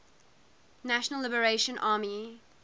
national liberation army